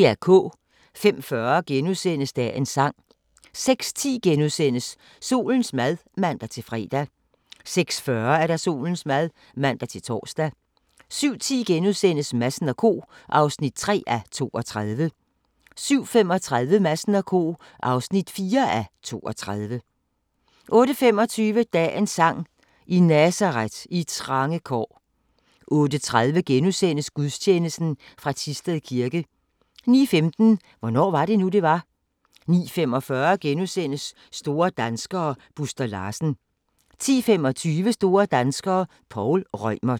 05:40: Dagens sang * 06:10: Solens mad *(man-fre) 06:40: Solens mad (man-tor) 07:10: Madsen & Co. (3:32)* 07:35: Madsen & Co. (4:32) 08:25: Dagens sang: I Nazaret, i trange kår 08:30: Gudstjeneste fra Thisted Kirke * 09:15: Hvornår var det nu, det var? 09:45: Store danskere - Buster Larsen * 10:25: Store danskere - Poul Reumert